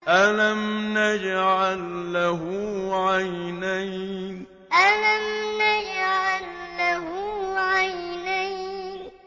أَلَمْ نَجْعَل لَّهُ عَيْنَيْنِ أَلَمْ نَجْعَل لَّهُ عَيْنَيْنِ